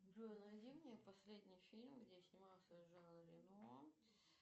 джой найди мне последний фильм где снимался жан рено